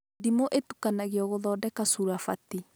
Ndimũ ĩtukanagio gũthondeka curabati